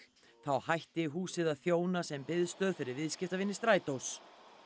þá hætti húsið að þjóna sem biðstöð fyrir viðskiptavini strætós